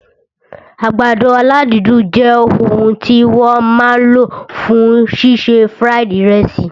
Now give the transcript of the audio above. Àgbàdo aládídùn jẹ òun tí wọ́n máa lò fún ṣíṣe fried ìrẹsì